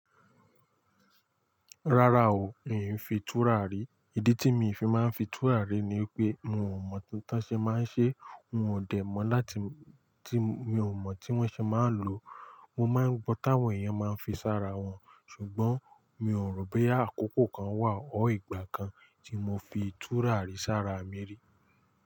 Rárá o, in fi túrà rí. Ìdí tí mi fi máa ń fi túràrí ni wipé mi ò mọ̀ tí wọ́n ṣe máa ń ṣe, wọn ò dẹ̀ mọ́ láti tí mi ò mọ̀ tí wọ́n ṣe máa ń lo. Mo máa ń gbọ́ táwọn èèyàn máa ń fi sára wọn, ṣùgbọ́n mi ò rò boyá àkókò kan wà or ìgbà kan tí mo fi túràrí sára mi rí.